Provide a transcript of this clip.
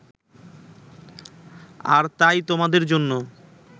আর তাই তোমাদের জন্য